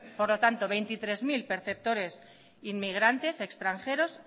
por lo tanto veintitrés mil perceptores inmigrantes extranjeros